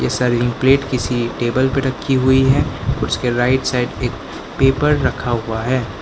Plate किसी table पे रखी हुई है उसके राइट साइड एक पेपर रखा हुआ है।